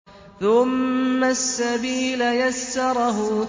ثُمَّ السَّبِيلَ يَسَّرَهُ